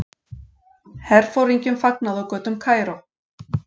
Herforingjum fagnað á götum Kaíró.